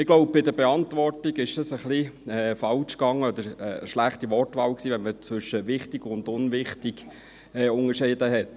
Ich glaube, bei der Beantwortung lief etwas ein bisschen falsch, oder es war eine schlechte Wortwahl, weil zwischen «wichtig» und «unwichtig» unterschieden wurde.